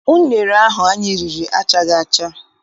Unere ahụ anyị riri achaghị acha.